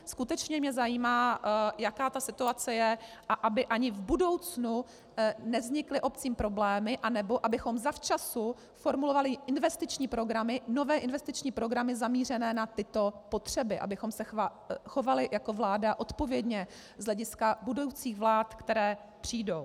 Skutečně mě zajímá, jaká ta situace je, a aby ani v budoucnu nevznikly obcím problémy nebo abychom zavčas formulovali investiční programy, nové investiční programy zaměřené na tyto potřeby, abychom se chovali jako vláda odpovědně z hlediska budoucích vlád, které přijdou.